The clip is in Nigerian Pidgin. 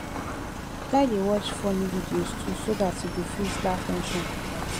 try dey watch funny videos too so dat you go fit laugh ten sion comot